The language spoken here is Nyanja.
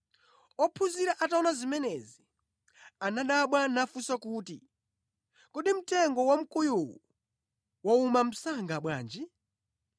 Ophunzira ataona zimenezi, anadabwa nafunsa kuti, “Kodi mtengo wamkuyuwu wauma msanga bwanji?”